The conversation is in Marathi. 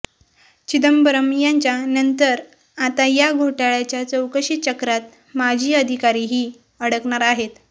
चिदंबरम यांच्या नंतर आता या घोटाळ्याच्या चौकशीचक्रात माजी अधिकारीही अडकणार आहेत